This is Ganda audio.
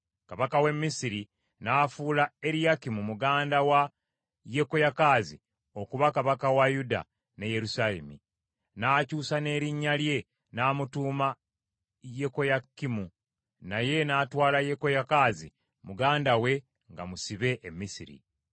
Kabaka w’e Misiri n’afuula Eriyakimu muganda wa Yekoyakaazi okuba kabaka wa Yuda ne Yerusaalemi, n’akyusa n’erinnya lye, n’amutuuma Yekoyakimu, naye n’atwala Yekoyakaazi muganda we nga musibe e Misiri.